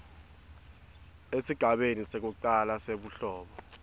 esigabeni sekucala sebuhlobo